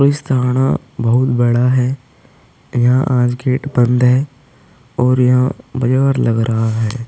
Police थाना बहोत बड़ा है। यहां आज गेट बंद है और यहां बाजार लग रहा है।